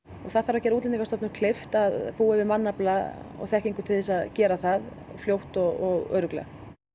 og það þarf að gera Útlendingastofnun kleift að búa yfir mannafla og þekkingu til að gera það fljótt og örugglega